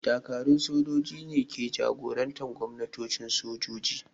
Dakarun sojoji ne ke jagorantar gwamnatocin sojoji.